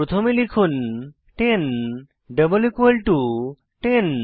প্রথমে লিখুন 10 double equal to 10